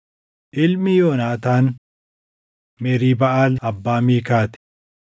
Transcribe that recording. Ilmi Yoonaataan: Meriibaʼaal abbaa Miikaa ti.